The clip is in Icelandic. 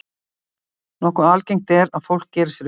Nokkuð algengt er að fólk geri sér upp veikindi.